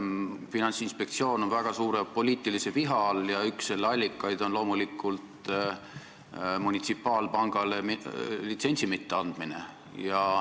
Finantsinspektsioon on väga suure poliitilise viha all ja üks selle allikaid on loomulikult munitsipaalpangale litsentsi mitteandmine.